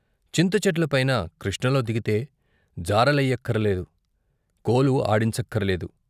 చింతచెట్లపైన కృష్ణలో దిగితే జార లెయ్యక్కరలేదు, కొలు ఆడించక్కరలేదు.